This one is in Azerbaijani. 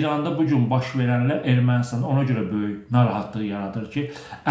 İranda bu gün baş verənlər Ermənistanı ona görə böyük narahatlıq yaradır ki,